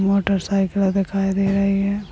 Motorcycle दिखाई दे रहे है।